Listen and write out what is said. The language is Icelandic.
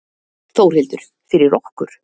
Þórhildur: Fyrir okkur?